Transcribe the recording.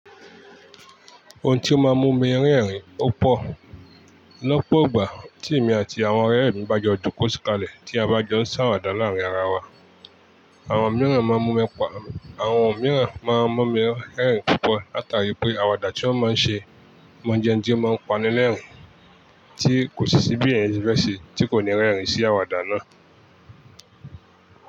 Ohun tí ó máa ń mú mi rẹ́rìn-ín opo lọ́pọ̀ ogbà tí èmi àti àwọn ọ̀rẹ́ mi bá jọ jó kó ti kalẹ̀ tí a bá jọ ń ṣàwàdà láàárin ara wa. Àwọn mìíràn máa ń mú mi rẹ́rìn-ín púpọ̀ látàrí pé àwàdà tí wọ́n máa ń ṣe máa ń jẹ ń jí máa ń panilérìn-ín tí kò sì sí bí èèyàn fi fẹ́ ṣe tí kò ní rẹ́rìn-ín sí àwàdà náà.